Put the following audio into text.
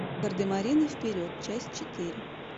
гардемарины вперед часть четыре